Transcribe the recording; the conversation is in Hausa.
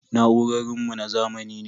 Na'urorin mu na zamani ne.